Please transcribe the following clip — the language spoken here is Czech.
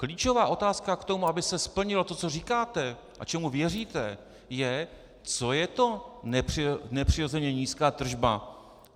Klíčová otázka k tomu, aby se splnilo to, co říkáte a čemu věříte, je, co je to nepřirozeně nízká tržba.